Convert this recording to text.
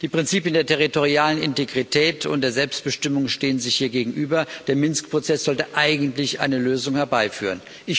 Die Prinzipien der territorialen Integrität und der Selbstbestimmung stehen sich hier gegenüber. Der Minsk Prozess sollte eigentlich eine Lösung herbeiführen.